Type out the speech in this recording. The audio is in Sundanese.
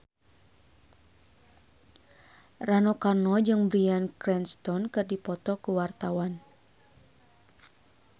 Rano Karno jeung Bryan Cranston keur dipoto ku wartawan